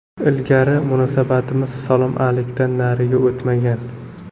Ilgari munosabatimiz salom-alikdan nariga o‘tmagan.